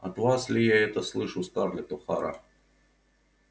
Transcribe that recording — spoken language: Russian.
от вас ли я это слышу скарлетт охара